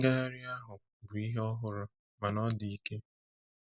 Ngagharị ahụ bụ ihe ọhụrụ—mana ọ dị ike.